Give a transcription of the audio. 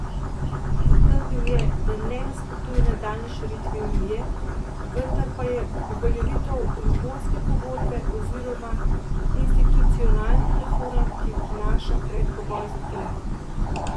Zatrdil je, da ne nasprotuje nadaljnji širitvi unije, vendar pa je uveljavitev Lizbonske pogodbe oziroma institucionalnih reform, ki jih prinaša, predpogoj za to.